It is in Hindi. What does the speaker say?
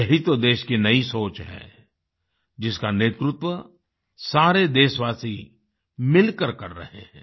यही तो देश की नई सोच है जिसका नेतृत्व सारे देशवासी मिलकर कर रहे हैं